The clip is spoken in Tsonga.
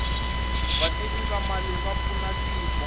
vativi va mali va pfuna tiko